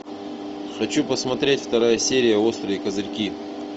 хочу посмотреть вторая серия острые козырьки